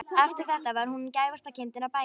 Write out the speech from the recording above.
Eftir þetta var hún gæfasta kindin á bænum.